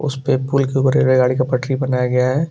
उस पर पुल के ऊपर रेल गाड़ी का पटरी बनाया गया है।